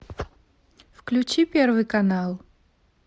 включи первый канал